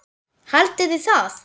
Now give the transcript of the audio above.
Haldiði það?